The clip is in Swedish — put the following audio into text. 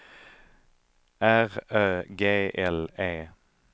R Ö G L E